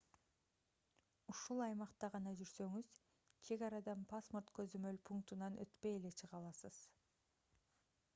ушул аймакта гана жүрсөңүз чек арадан паспорт көзөмөл пунктунан өтпөй эле чыга аласыз